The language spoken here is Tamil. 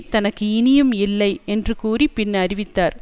தனக்கு இனியும் இல்லை என்று கூறி பின் அறிவித்தார்